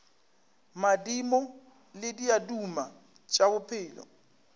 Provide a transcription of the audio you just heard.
madimo le diaduma tša bophelo